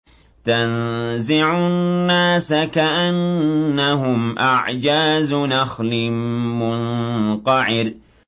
تَنزِعُ النَّاسَ كَأَنَّهُمْ أَعْجَازُ نَخْلٍ مُّنقَعِرٍ